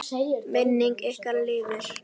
Minning ykkar lifir.